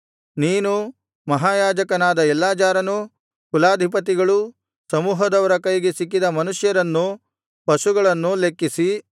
ನೀನೂ ಮಹಾಯಾಜಕನಾದ ಎಲ್ಲಾಜಾರನೂ ಕುಲಾಧಿಪತಿಗಳೂ ಸಮೂಹದವರ ಕೈಗೆ ಸಿಕ್ಕಿದ ಮನುಷ್ಯರನ್ನೂ ಪಶುಗಳನ್ನೂ ಲೆಕ್ಕಿಸಿ